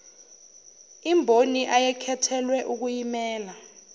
imboni ayekhethelwe ukuyimela